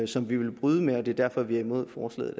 som vi vil bryde med det er derfor vi er imod forslaget